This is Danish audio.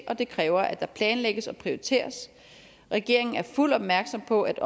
og det kræver at der planlægges og prioriteres regeringen er fuldt opmærksom på at